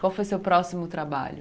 Qual foi o seu próximo trabalho?